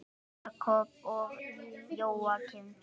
Jakob og Jóakim.